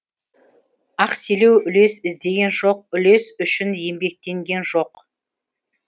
ақселеу үлес іздеген жоқ үлес үшін еңбектенген жоқ